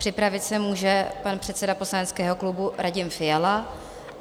Připravit se může pan předseda poslaneckého klubu Radim Fiala.